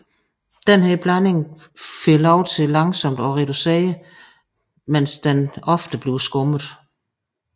Denne blanding for lov til langsomt at reducere mens den ofte bliver skummet